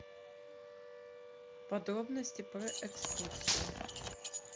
подробности про экскурсии